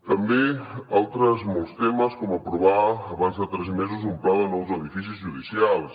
també altres molts temes com aprovar abans de tres mesos un pla de nous edificis judicials